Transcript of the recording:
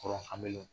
Kɔrɔ an bɛ